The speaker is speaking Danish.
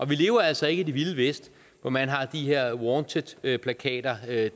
vi lever altså ikke i det vilde vesten hvor man har de her wanted plakater dead